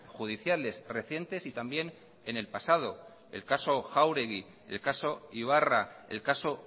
judiciales recientes y también en el pasado el caso jáuregui el caso ibarra el caso